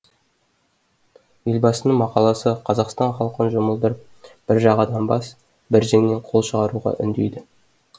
елбасының мақаласы қазақстан халқын жұмылдырып бір жағадан бас бір жеңнен қол шығаруға үндейді